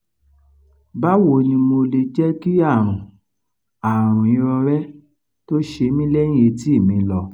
bawo ni mo le jẹ́ ki àrùn àrùn irorẹ to ṣe mí lẹ́yìn etí mi lọ